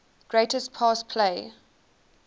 greatest pass play